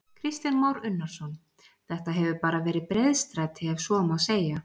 Kristján Már Unnarsson: Þetta hefur bara verið breiðstræti ef svo má segja?